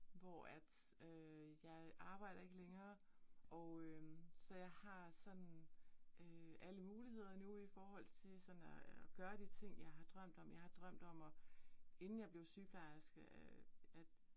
Hvor at øh jeg arbejder ikke længere og øh så jeg har sådan øh alle muligheder nu i forhold til sådan at gøre de ting, jeg har drømt om, jeg har drømt om at inden jeg blev sygeplejerske øh at